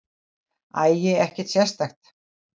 Æi, ekkert sérstakt.